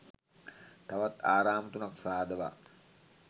තවත් ආරාම තුනක් සාදවා